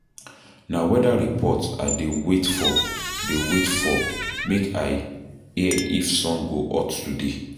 Na weather report I dey wait for dey wait for make I. hear if sun go hot today